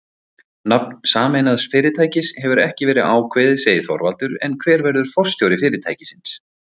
Nafn sameinaðs fyrirtækis hefur ekki verið ákveðið segir Þorvaldur en hver verður forstjóri fyrirtækisins?